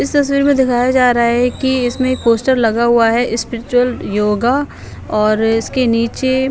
इस तस्वीर में दिखाया जा रहा है कि इसमें एक पोस्टर लगा हुआ है स्पिरिचुअल योगा और इसके नीचे--